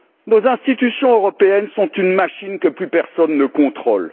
Nos institutions européennes sont une machine que plus personne ne contrôle.